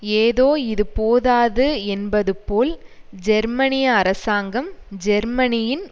ஏதோ இது போதாது என்பது போல் ஜெர்மனிய அரசாங்கம் ஜெர்மனியின்